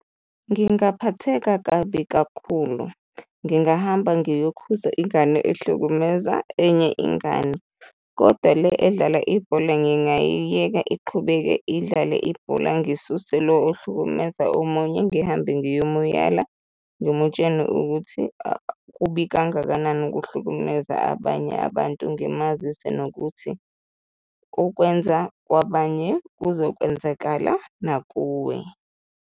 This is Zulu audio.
Ngingaphatheka kabi kakhulu, ngingahamba ngiyokhuza ingane ehlukumeza enye ingane kodwa le edlala ibhola ngingayiyeka iqhubeke idlale ibhola, ngisuse lo ohlukumeza omunye, ngihambe ngiyomuyala ngimutshele ukuthi kubi kangakanani ukuhlukumeza abanye abantu, ngimazise nokuthi okwenza kwabanye kuzokwenzakala nakuwe.